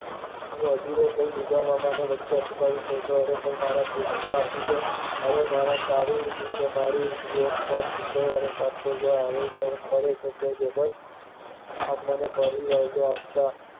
હું અધીરો થઇ વચ્ચે બબડાટ કરી ને મારા બુટ આપી દો, હવે તારી ને મારી એમ શુક્રવારે લેતો જા, આમ વાયદો આપતા